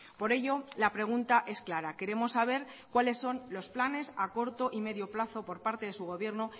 por ello la pregunta es clara queremos saber cuáles son los planes a corto y medio plazo por parte de su gobierno